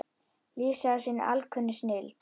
lýsa af sinni alkunnu snilld.